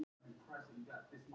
Búið að skera niður